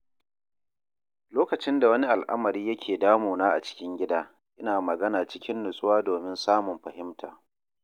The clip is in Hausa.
Lokacin da wani al'amari yake damuna a cikin gida, ina magana cikin nutsuwa domin samun fahimta.